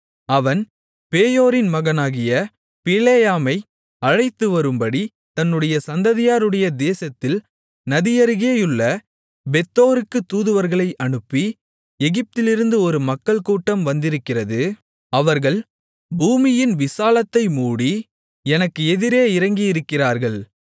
அவன் பேயோரின் மகனாகிய பிலேயாமை அழைத்துவரும்படி தன்னுடைய சந்ததியாருடைய தேசத்தில் நதியருகேயுள்ள பேத்தோருக்கு தூதுவர்களை அனுப்பி எகிப்திலிருந்து ஒரு மக்கள்கூட்டம் வந்திருக்கிறது அவர்கள் பூமியின் விசாலத்தை மூடி எனக்கு எதிரே இறங்கியிருக்கிறார்கள்